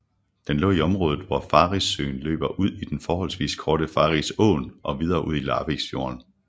Den lå i området hvor Farrissøen løber ud i den forholdsvis korte Farrisåen og videre ud i Larviksfjorden